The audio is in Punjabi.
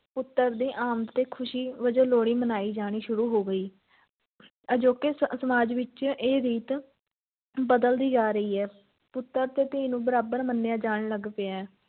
ਪੁੱਤਰ ਦੀ ਆਮਦ ’ਤੇ ਖ਼ੁਸ਼ੀ ਵਜੋਂ ਲੋਹੜੀ ਮਨਾਈ ਜਾਣੀ ਸ਼ੁਰੂ ਹੋ ਗਈ ਅਜੋਕੇ ਸ~ ਸਮਾਜ ਵਿੱਚ ਇਹ ਰੀਤ ਬਦਲਦੀ ਜਾ ਰਹੀ ਹੈ, ਪੁੱਤਰ ਤੇ ਧੀ ਨੂੰ ਬਰਾਬਰ ਮੰਨਿਆ ਜਾਣ ਲੱਗ ਪਿਆ ਹੈ